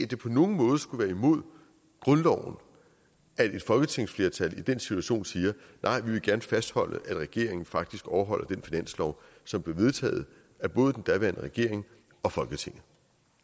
det på nogen måde skulle være imod grundloven at et folketingsflertal i den situation siger nej vi vil gerne fastholde at regeringen faktisk overholder den finanslov som blev vedtaget af både den daværende regering og folketinget